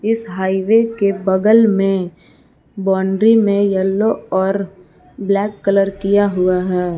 इस हाइवे के बगल में बाउंड्री में येलो और ब्लैक कलर किया हुआ है।